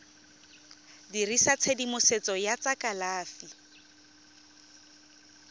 dirisa tshedimosetso ya tsa kalafi